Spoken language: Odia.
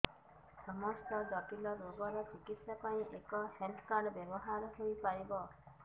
ସମସ୍ତ ଜଟିଳ ରୋଗର ଚିକିତ୍ସା ପାଇଁ ଏହି ହେଲ୍ଥ କାର୍ଡ ବ୍ୟବହାର ହୋଇପାରିବ